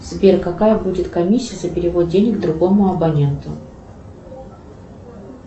сбер какая будет комиссия за перевод денег другому абоненту